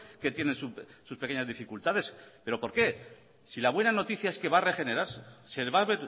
que tienen sus pequeñas dificultades pero por qué si la buena noticia es que va a regenerarse se va a